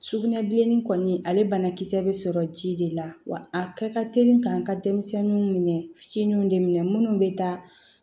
Sugunɛbilenni kɔni ale banakisɛ bɛ sɔrɔ ji de la wa a kɛ ka teli k'an ka denmisɛnninw minɛ fitininw de minɛ minnu bɛ taa